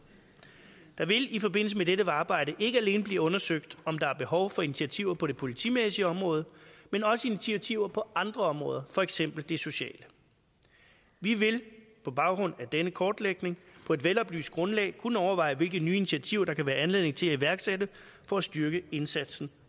der vil i forbindelse med dette arbejde ikke alene blive undersøgt om der er behov for initiativer på det politimæssige område men også initiativer på andre områder for eksempel det sociale vi vil på baggrund af denne kortlægning på et veloplyst grundlag kunne overveje hvilke nye initiativer der kan være anledning til at iværksætte for at styrke indsatsen